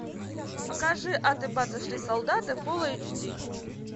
покажи аты баты шли солдаты фулл эйч ди